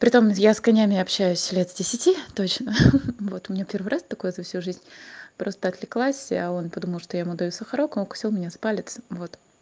при том я с конями общаюсь с десяти лет точно ха ха вот у меня первый раз такое за всю жизнь просто отвлеклась а он подумал что я ему даю сахарок он укусил меня за палец вот